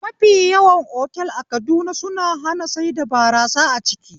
Mafi yawan otal a Kaduna suna hana saida barasa a ciki